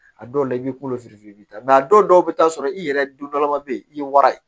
A dɔw la i b'i kolo i bɛ taa a dɔw bɛ taa sɔrɔ i yɛrɛ don dɔlama bɛ yen i ye wara ye